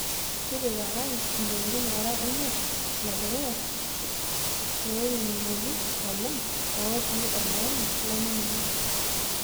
tipika isingolioti oora imiet le dukuya loinining'oki oleng' otii olaini laininig'o